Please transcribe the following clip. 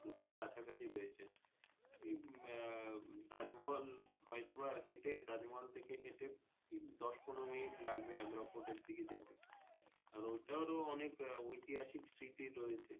দুটোই কাছাকাছি রয়েছে উম আহ তাজমহল হয়তো বা হেটে তাজমহল থাকে হেটে ঠিক দশ পনেরো মিনিট লাগবে আগ্রা fort র দিকে যেতে আর ওটাও অনেক ঐতিহাসিক সৃতি রয়েছে।